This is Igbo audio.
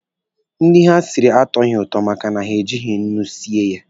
Nri ha siri atọghị ụtọ maka na ha ejighi nnu sie ya.